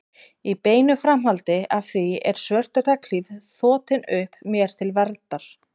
Í beinu framhaldi af því er svört regnhlíf þotin upp mér til verndar.